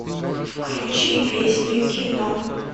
включи песню кино